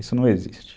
Isso não existe.